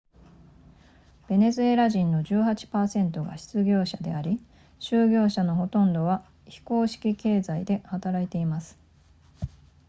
ベネズエラ人の 18% が失業者であり就業者のほとんどは非公式経済で働いています